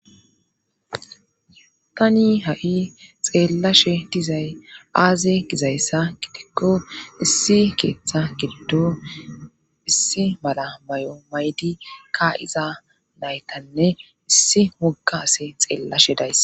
tani ha7i xeellashe dizay aaze gizayssa gitikko issi keeththa girdo issi mala may7o maydi ka iza naytanne issi moga ase xeellashe days